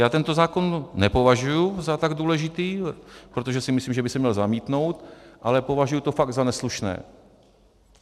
Já tento zákon nepovažuji za tak důležitý, protože si myslím, že by se měl zamítnout, ale považuji to fakt za neslušné.